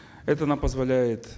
это нам позволяет